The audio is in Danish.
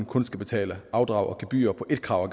kun skal betale afdrag og gebyr på et krav